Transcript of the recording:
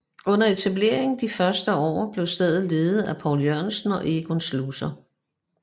Under etableringen de første par år blev stedet ledet af Poul Jørgensen og Egon Schlosser